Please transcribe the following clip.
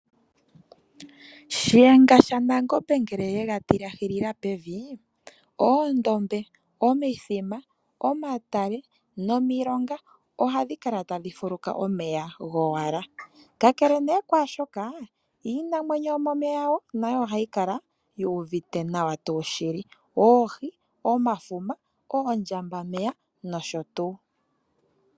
Shiyenga shaNangombe ngele ye ga tilahila pevi, oondombe, omithima, omatale nomilonga ohadhi kala tadhi fuluka omeya gowala. Kakele nee kwaashoka, iinamwenyo yomomeya ngaashi oohi, omafuma, oondjambameya nosho tuu nayo ohayi kala wo yuuvite nawa tuu shili.